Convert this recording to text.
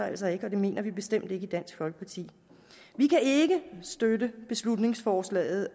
altså ikke og det mener vi bestemt ikke i dansk folkeparti vi kan ikke støtte beslutningsforslaget